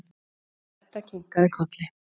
Edda kinkaði kolli.